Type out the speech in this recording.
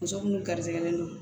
Muso minnu garisigɛlen don